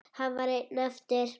Hann var einn eftir.